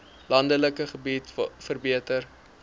landelike gebiede verbeter